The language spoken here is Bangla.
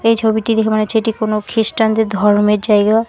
এই ছবিটি দেখে মনে হচ্ছে এটি কোনো খ্রিস্টানদের ধর্মের জায়গা।